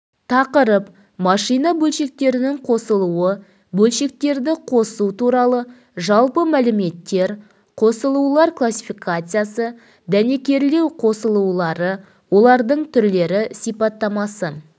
тақырып машина бөлшектерінің қосылуы бөлшектерді қосу туралы жалпы мәліметтер қосылулар классификациясы дәнекерлеу қосылулары олардың түрлері сипаттамасы